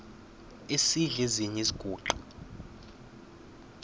esidl eziny iziguqa